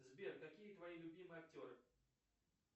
сбер какие твои любимые актеры